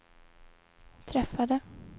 träffade